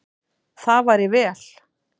Það væri vel.